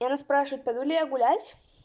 и она спрашивает пойду ли я гулять